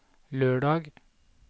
lørdag